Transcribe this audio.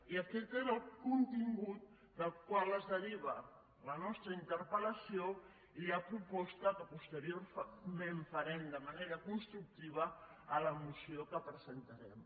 i aquest és el contingut del qual es deriva la nostra interpel·lació i la proposta que posteriorment farem de manera constructiva a la moció que presentarem